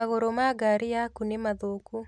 Magũrũ ma ngari yaku nĩ mathũku